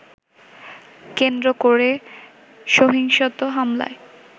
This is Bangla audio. কেন্দ্র করে সহিংসত হামলায়